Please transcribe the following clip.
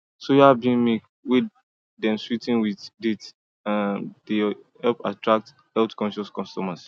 soya bean milk wey dem swee ten with dates dey help attract healthconscious customers